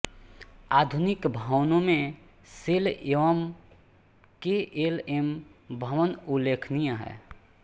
आधुनिक भवनों में शेल एवं के एल एम भवन उल्लेखनीय हैं